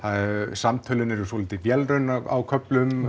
samtölin eru svolítið vélræn á köflum